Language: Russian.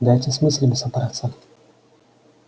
дайте с мыслями собраться